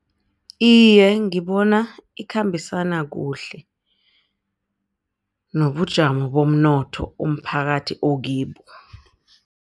Iye, ngibona ikhambisana kuhle nobujamo bomnotho umphakathi okibo.